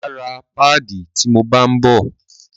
Máa ra páàdì ti mo bá ń bọ̀.